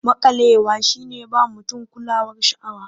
Maƙalewa shi ne ba mutum kulawar sha'awa.